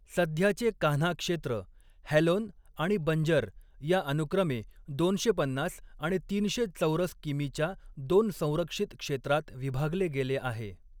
सध्याचे कान्हा क्षेत्र, हॅलोन आणि बंजर या अनुक्रमे दोनशे पन्नास आणि तीनशे चौरस किमीच्या दोन संरक्षित क्षेत्रात विभागले गेले आहे.